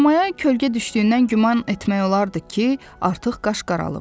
Koma kölgə düşdüyündən güman etmək olardı ki, artıq qaş qaralıb.